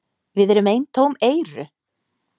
Við erum eintóm EYRU!